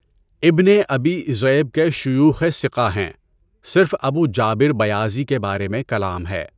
ابنِ ابی ذِئْب کے شیوخ ثقہ ہیں، صرف ابو جابر بَیَاضِی کے بارے میں کلام ہے۔